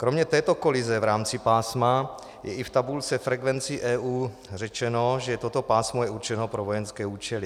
Kromě této kolize v rámci pásma je i v tabulce frekvencí EU řečeno, že toto pásmo je určeno pro vojenské účely.